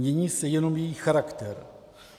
Mění se jenom jejich charakter.